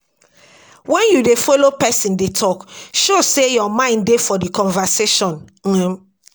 When you dey follow person dey talk, show sey your mind dey for di conversation um